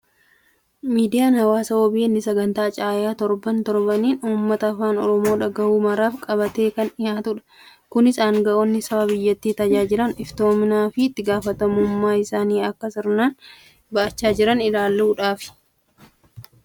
Miidiyaan hawaasaa OBN sagantaa Caayaa torban, torbaniin uummata afaan Oromoo dhagahu maraaf qabatee kan dhiyaatudha. Kunis aangaa'onni saba biyyattii tajaajilan iftoominaa fi itti gaafatamummaa isaanii akka sirnaan ba'achaa jiran ilaaluufidha.